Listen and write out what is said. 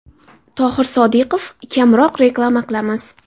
Tohir Sodiqov: Kamroq reklama qilamiz.